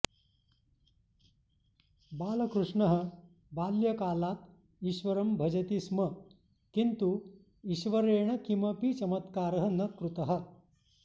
बालकृष्णः बाल्यकालात् ईश्वरं भजति स्म किन्तु ईश्वरेण किमपि चमत्कारः न कृतः